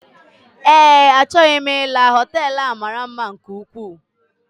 Ee achọghị m ila hotelú a maara mma nke ukwuu.